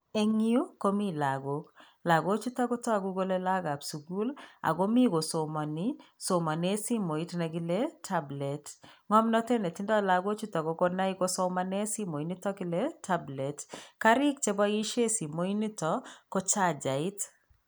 Eng nyuu komi lakok, lakochuto kotoku kole laookab sukul, akomi kosomani somane simoit nekile tablet. Ngomnatet netindoi lakochuto kokonai kosomane simoit nito kile tablet. Kariik che poishe simoit nito ko chachait.